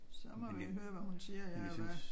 Så må vi høre hvad hun siger ja og hvad